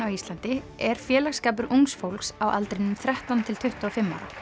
á Íslandi er félagsskapur ungs fólks á aldrinum þrettán til tuttugu og fimm ára